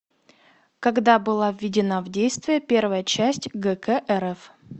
когда была введена в действие первая часть гк рф